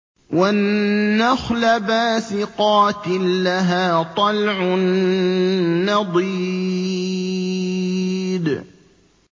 وَالنَّخْلَ بَاسِقَاتٍ لَّهَا طَلْعٌ نَّضِيدٌ